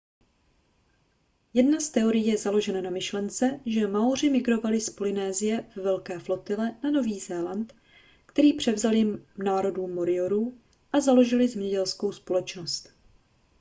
jedna z teorií je založena na myšlence že maoři migrovali z polynésie ve velké flotile na nový zéland který převzali národu moriorů a založili zemědělskou společnost